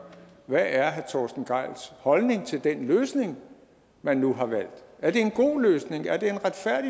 hvad er herre torsten gejls holdning til den løsning man nu har valgt er det en god løsning er det